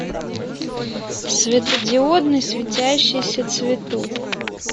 светодиодный светящийся цветок